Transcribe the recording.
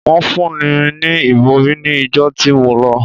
Wọ́n fún mi ní ìbòrí ní ìjọ tí mo lọ.